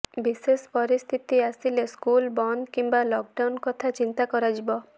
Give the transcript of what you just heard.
ବିଶେଷ ପରିସ୍ଥିତି ଆସିଲେ ସ୍କୁଲ ବନ୍ଦ କିମ୍ବା ଲକ୍ ଡାଉନ୍ କଥା ଚିନ୍ତା କରାଯିବ